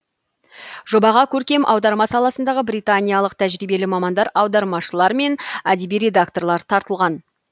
жобаға көркем аударма саласындағы британиялық тәжірибелі мамандар аудармашылар мен әдеби редакторлар тартылған